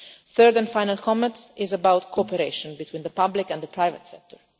My third and final comment is about cooperation between the public and private sectors.